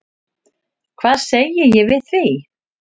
Hvað segi ég við því?